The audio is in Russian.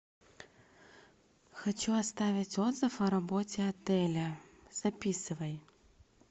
хочу оставить отзыв о работе отеля записывай